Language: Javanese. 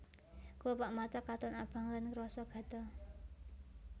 Klopak mata katon abang lan krasa gatel